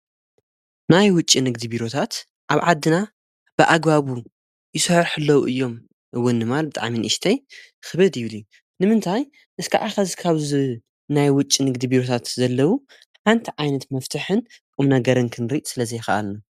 ናይ ውጭ ንግዲ ቢሩታት ኣብ ዓድና ብኣጓቡ ይሶሕሕለው እዮም እውን ማል ጥዓምን እሽተይ ኽበድ ይብሊ ንምንታይ እስከ ዓኻ ዝካብዝ ናይ ውጭ ንግዲ ቢሩታት ዘለዉ ሓንቲ ዓይነት መፍትሕን ቁም ነገርን ክንሪድ ስለ ዘይኽኣልኒ።